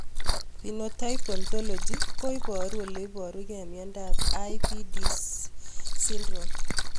Phenotype ontology Ko paru ole iparukei miondop IBIDS syndrome